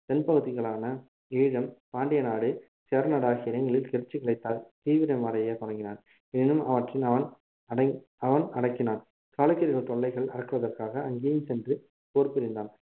தென் பகுதிகளான ஈழம் பாண்டியநாடு சேரநாடு ஆகிய இடங்களில் கிளர்ச்சிகள் தீவிரம் அடையத் தொடங்கின எனினும் அவற்றில் அவன் அடக்~ அவன் அடக்கினான் சாளுக்கியர்கள் தொல்லைகள் அடக்குவதற்காக அங்கேயும் சென்று போர் புரிந்தான்